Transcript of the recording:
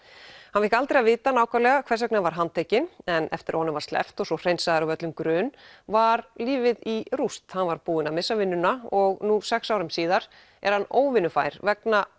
hann fékk aldrei að vita nákvæmlega hvers vegna hann var handtekinn en eftir að honum var sleppt og svo hreinsaður af öllum grun var lífið í rúst hann var búinn að missa vinnuna og nú sex árum síðar er hann óvinnufær vegna